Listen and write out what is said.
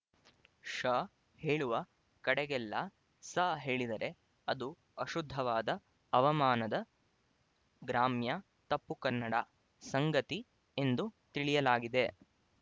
ಶ ಹೇಳುವ ಕಡೆಗಳೆಲ್ಲ ಸ ಹೇಳಿದರೆ ಅದು ಅಶುದ್ಧವಾದ ಅವಮಾನದ ಗ್ರಾಮ್ಯ ತಪ್ಪುಕನ್ನಡ ಸಂಗತಿ ಎಂದು ತಿಳಿಯಲಾಗಿದೆ